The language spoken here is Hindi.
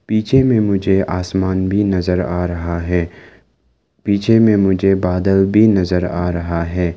पीछे में मुझे आसमान भी नजर आ रहा है पीछे में मुझे बादल भी नजर आ रहा है।